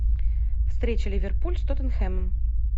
встреча ливерпуль с тоттенхэмом